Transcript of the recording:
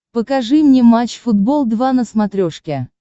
покажи мне матч футбол два на смотрешке